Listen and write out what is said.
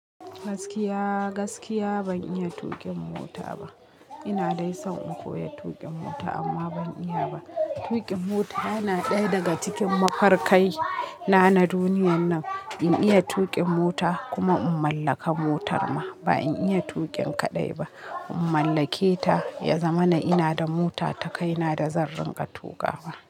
Gaskiya, gaskiya ban iya tuƙin mota ba. Ina dai son in koya tuƙin mota amma ban iya ba. Tuƙin mota yana ɗaya daga cikin mafarkai na na duniyar nan. In iya tuƙin mota kuma in mallaka motar ma ba in iya tuƙin kaɗai ba. In mallake ta, ya zama na ina da mota ta kaina da zan ringa tuƙawa.